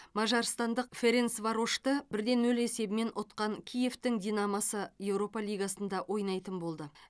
мажарстандық ференцварошты бір де нөл есебімен ұтқан киевтің динамосы еуропа лигасында ойнайтын болды